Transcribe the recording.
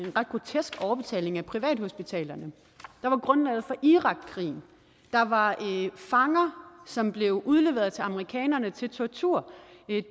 ret grotesk overbetaling af privathospitalerne der var grundlaget for irakkrigen der var fanger som blev udleveret til amerikanerne til tortur